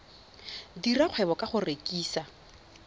dira kgwebo ka go rekisa